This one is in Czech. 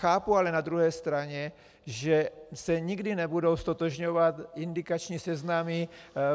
Chápu ale na druhé straně, že se nikdy nebudou ztotožňovat indikační seznamy